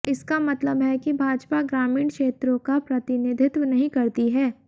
इसका मतलब है कि भाजपा ग्रामीण क्षेत्रों का प्रतिनिधित्व नहीं करती है